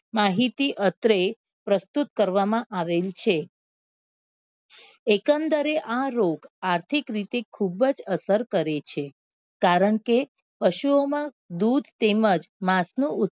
માહિતી અત્રે પ્રસ્તુત કરવા માં આવેલ છે એકંદરે આ રોગ આર્થિક રીતે ખુબ જ અસર કરે છે કારણ કે પશુ ઓ માં દૂધ તેમજ માંસ નું ઉત